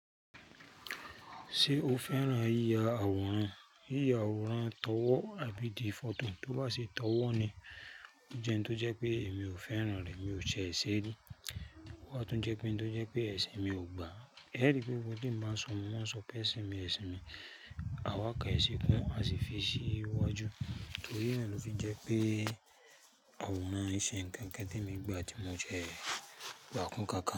Ṣe o fẹ́ràn yíya àwòrán? Yíya àwòrán tọ̀wọ̀ àbí ti fọto, tó bá ṣe tọ̀wọ̀ ni o jẹ n tó jẹ pé èmi ò fẹ́ràn rẹ̀, mi ò ṣe èṣé rí. Ó wa tún jẹ́ pé ń tó jẹ́ pé ẹṣin mi ò gbà á. E ri pé gbogbo tí ń bá sọ, mọ́ maa sọ pé ẹṣin mi, ẹṣin mi. Àwa kàn ẹṣin kún, a sì fi ṣí iwájú. Torí na ló fi jẹ́ pé àwòrán iṣe ǹkan nkan t'emi gba tí mo jẹ gbà kún nkánkán.